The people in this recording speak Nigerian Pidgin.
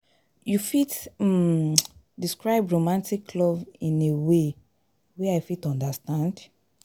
you fit um describe romantic love in a way wey i fit understand?